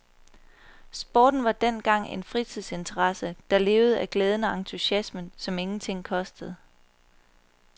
Sporten var dengang en fritidsinteresse, der levede af glæden og entusiasmen, som ingenting kostede.